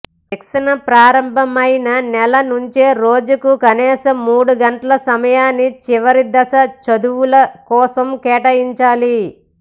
శిక్షణ ప్రారంభమైన నెల నుంచే రోజుకు కనీసం మూడు గంటల సమయాన్ని చివరి దశ చదువుల కోసం కేటాయించాలి